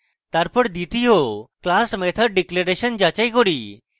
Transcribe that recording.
তারপর দ্বিতীয় class methods declaration যাচাই করুন